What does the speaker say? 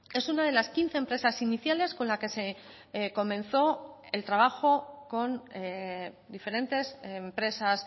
es una de las quince empresas iniciales con la que se comenzó el trabajo con diferentes empresas